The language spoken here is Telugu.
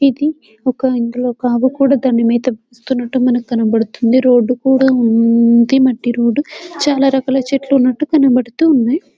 ఇది ఇందులో ఒక ఆవు కూడా దాని మేత మేస్తున్నట్టుగా కనిపిస్తున్నది రోడ్ కూడా ఉంది మట్టి రోడ్ చాలా రకాల చెట్లు ఉన్నట్టుగా కనబడుతున్నాయి .